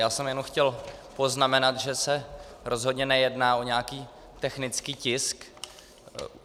Já jsem jenom chtěl poznamenat, že se rozhodně nejedná o nějaký technický tisk.